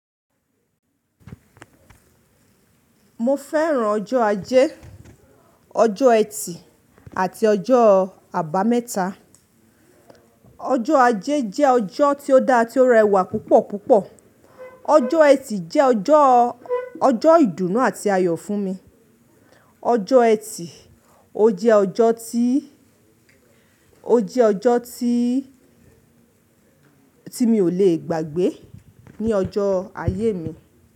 Mo fẹ́ràn ọjọ́ ajé, ọjọ́ ẹtì àti ọjọ́ àbámẹ́ta. Ọjọ́ ajé jẹ́ ọjọ́ tí ó da tí ó rẹwà púpọ̀ púpọ̀. Ọjọ́ ẹtì jẹ́ ọjọ́, ọjọ́ ìdùnnú àti ayọ̀ fún mi. Ọjọ́ ẹtì ó jẹ́ ọjọ́ tí, ó jẹ́ ọjọ́ tí, tí mi ò lè gbàgbé ní ọjọ́ ayé mi.